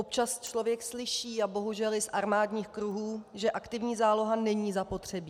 Občas člověk slyší, a bohužel i z armádních kruhů, že aktivní záloha není zapotřebí.